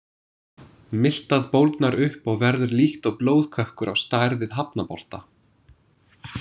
Miltað bólgnar upp og verður líkt og blóðkökkur á stærð við hafnabolta.